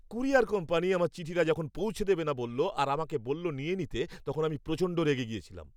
Courier company আমার চিঠিটা যখন পৌঁছে দেবে না বলল আর আমাকে বলল নিয়ে নিতে তখন আমি প্রচণ্ড রেগে গিয়েছিলাম।